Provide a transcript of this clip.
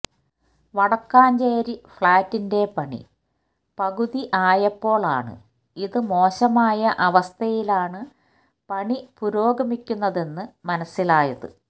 വടക്കാഞ്ചേരി ഫ്ളാറ്റിന്റെ പണി പകുതി ആയപ്പോൾ ആണ് ഇത് മോശമായ അവസ്ഥയിലാണ് പണി പുരോഗമിക്കുന്നതെന്ന് മനസ്സിലായത്